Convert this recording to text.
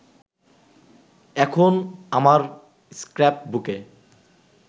এখন আমার স্ক্র্যাপ-বুকে